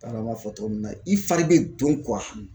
Baara b'a fɔ cogo min na i fari bɛ don